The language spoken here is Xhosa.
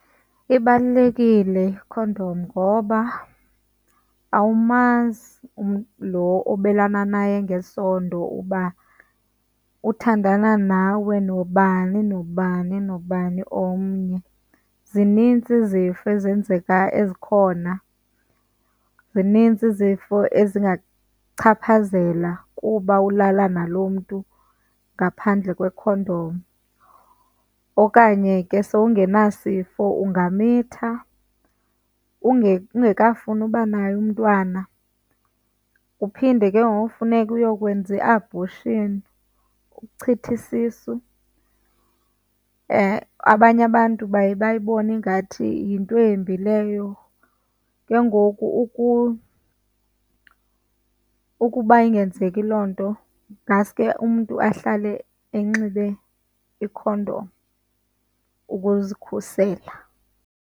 Ibalulekile ikhondom ngoba awumazi umntu lo obelana naye ngesondo uba uthandana nawe nobani nobani nobani omnye. Zininzi izifo ezenzeka, ezikhona, zinintsi izifo ezingakuchaphazela kuba ulala nalo mntu ngaphandle kwekhondom okanye ke sowungenasifo ungamitha ungekafuni uba naye umntwana. Uphinde ke ngoku funeke uyokwenza i-abortion, ukuchitha isisu. Eyi, hayi, abanye abantu baye bayibone ingathi yinto embi leyo. Ke ngoku ukuba ingenzeki loo nto ngaske umntu ahlale enxibe ikhondom ukuzikhusela.